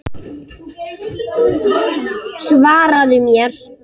Svaraðu mér!